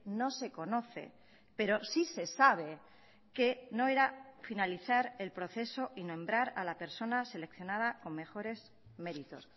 no se conoce pero sí se sabe que no era finalizar el proceso y nombrar a la persona seleccionada con mejores méritos